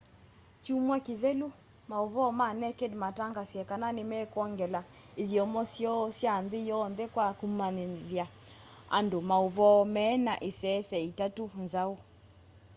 kyumwa kithelu mauvoo ma naked mataangasie kana nimekwongela ithyomo syoo sya nthi yonthe kwa kumanyithya andu mauvoo mena isese itatu nzau